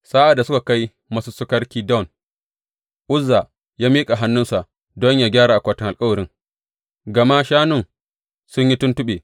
Sa’ad da suka kai masussukar Kidon, Uzza ya miƙa hannunsa don yă gyara akwatin alkawarin, gama shanun sun yi tuntuɓe.